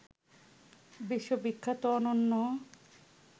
বিশ্ববিখ্যাত অনন্য